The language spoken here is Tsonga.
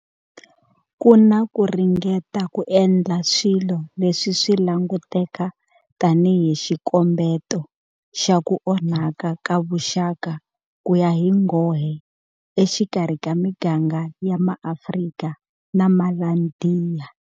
Ku na ku ringeta ku endla swilo leswi swi languteka tanihi xikombeto xa ku onhaka ka vuxaka ku ya hi nghohe exikarhi ka miganga ya MaAfrika na MaIndiya.